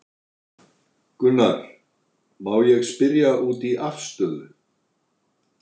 Gunnar: Má ég spyrja út í afstöðu?